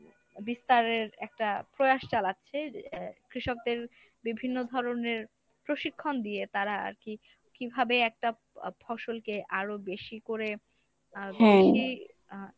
বিস্তারের একটা প্রয়াস চালাচ্ছে। এ কৃষকদের বিভিন্ন ধরনের প্রশিক্ষণ দিয়ে তারা আরকি কিভাবে একটা আহ ফসলকে আরো বেশি করে আহ আহ